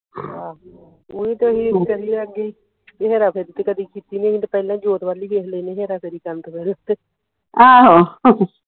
ਆਹੋ ਓਹੀ ਤਾ ਅਸੀ ਕਹੀ ਦਾ ਕੀ ਹੇਰਾ ਫੇਰੀ ਤੇ ਕਦੀ ਕੀਤੀ ਨਹੀਂ ਅਸੀ ਤੇ ਪਹਿਲਾ ਈ ਜੋਤ ਵੱਲ ਵੇਖ ਲੈਣੇ ਹੇਰਾ ਫੇਰ ਕਰਨ ਤੋਂ ਪਹਿਲਾ